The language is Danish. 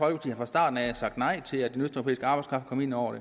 har fra starten af sagt nej til at den østeuropæiske arbejdskraft kom ind over